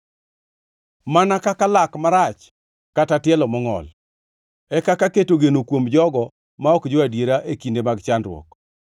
Mana kaka lak marach kata tielo mongʼol e kaka keto geno kuom jogo ma ok jo-adiera e kinde mag chandruok.